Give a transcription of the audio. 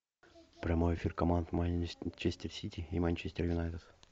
прямой эфир команд манчестер сити и манчестер юнайтед